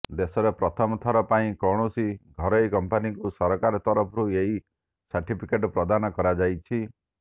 ଦେଶରେ ପ୍ରଥମଥର ପାଇଁ କୌଣସି ଘରୋଇ କମ୍ପାନିକୁ ସରକାର ତରଫରୁ ଏହି ସାର୍ଟିଫିକେଟ୍ ପ୍ରଦାନ କରାଯାଇଛି